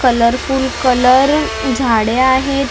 Colourful colour झाडे आहेत .